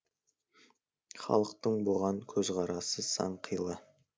халықтың бұған көзқарасы сан қилы